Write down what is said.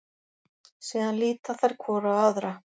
Síðan líta þær hvor á aðra.